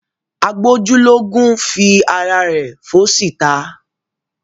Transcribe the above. Agbójúlógún fi ara rẹ̀ fóṣì ta.